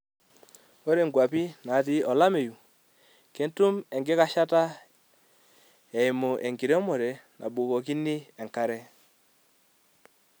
Ore kwapii natii olameyu ketum enkikashata eimu enkiremore nabukokini enkare.